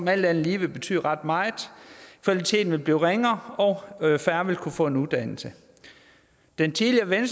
alt andet lige vil betyde ret meget kvaliteten vil blive ringere og færre vil kunne få en uddannelse den tidligere